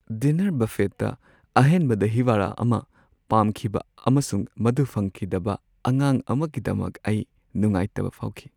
Dinner ꯕꯐꯦꯠꯇ ꯑꯍꯦꯟꯕ ꯗꯥꯍꯤ ꯋꯥꯗꯥ ꯑꯃ ꯄꯥꯝꯈꯤꯕ ꯑꯃꯁꯨꯡ ꯃꯗꯨ ꯐꯪꯈꯤꯗꯕ ꯑꯉꯥꯡ ꯑꯃꯒꯤꯗꯃꯛ ꯑꯩ ꯅꯨꯡꯉꯥꯏꯇꯕ ꯐꯥꯎꯈꯤ ꯫